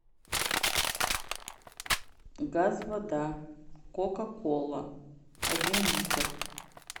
газ вода кока кола один литр